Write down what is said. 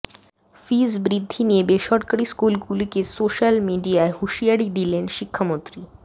fees বৃদ্ধি নিয়ে বেসরকারি স্কুলগুলিকে সোশ্যাল মিডিয়ায় হুঁশিয়ারি দিলেন শিক্ষামন্ত্রী